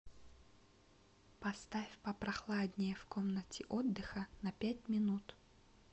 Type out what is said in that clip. поставь попрохладнее в комнате отдыха на пять минут